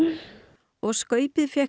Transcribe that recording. og skaupið fékk